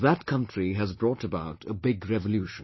That country has brought about a big revolution